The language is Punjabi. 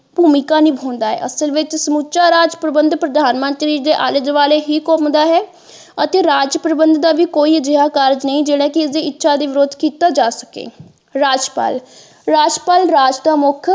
ਭੂਮਿਕਾ ਨਿਭਾਉਂਦਾ ਹੈ ਅਸਲ ਵਿੱਚ ਸਮੁੱਚਾ ਰਾਜ ਪ੍ਰਬੰਧਕ ਪ੍ਰਧਾਨ ਮੰਤਰੀ ਦੇ ਆਲੇ ਦੁਆਲੇ ਹੀ ਘੁਮੰਦਾ ਹੈ ਅਤੇ ਰਾਜ ਪ੍ਰਬੰਧਕ ਦਾ ਵੀ ਕੋਈ ਅਜਿਹਾ ਕਾਰਜ ਨਹੀਂ ਜਿਹੜਾ ਕਿ ਉਸਦੀ ਦੀ ਇੱਛਾ ਦੇ ਵਿਰੁੱਧ ਕੀਤਾ ਜਾ ਸਕੇ ਰਾਜਪਾਲ ਰਾਜਪਾਲ ਰਾਜ ਦਾ ਮੁੱਖ।